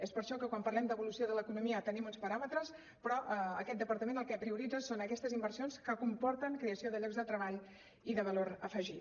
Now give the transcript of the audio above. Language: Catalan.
és per això que quan parlem d’evolució de l’economia tenim uns paràmetres però aquest departament el que prioritza són aquestes inversions que comporten creació de llocs de treball i de valor afegit